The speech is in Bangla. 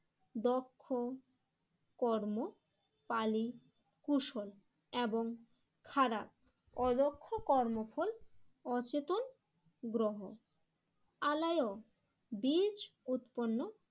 দক্ষ কর্ম পালি কুশল এবং খারাপ অদক্ষ কর্মফল অচেতন গ্রহ আলায় বীজ উৎপন্ন